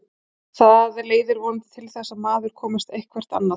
Það leiðir vonandi til þess að maður komist eitthvert annað.